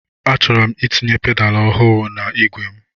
Achọrọ m itinye pedaal ọhụụ na-igwe m.